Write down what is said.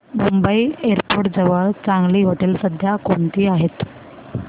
Mumbai airport जवळ चांगली हॉटेलं सध्या कोणती आहेत